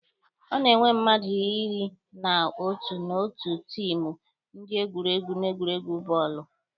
A na-enwe mmadụ iri na otu n'otu tiimụ ndị egwuregwu n'egwuregwu bọọlụ.